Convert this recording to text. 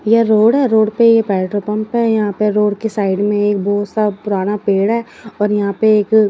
यह road road पे petrol pump है। यहां पर रोड की साइड में एक वह सब पुराना पेड़ है और यहां पर एक--